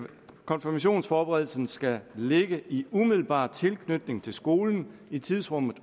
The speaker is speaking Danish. konfirmationsforberedelsen skal ligge i umiddelbar tilknytning til skolen i tidsrummet